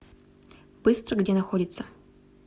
быстро где находится